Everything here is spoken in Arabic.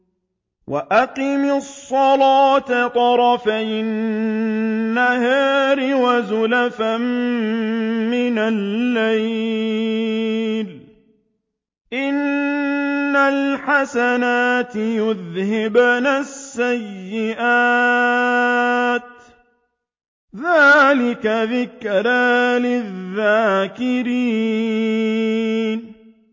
وَأَقِمِ الصَّلَاةَ طَرَفَيِ النَّهَارِ وَزُلَفًا مِّنَ اللَّيْلِ ۚ إِنَّ الْحَسَنَاتِ يُذْهِبْنَ السَّيِّئَاتِ ۚ ذَٰلِكَ ذِكْرَىٰ لِلذَّاكِرِينَ